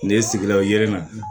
Ne sigila yiri la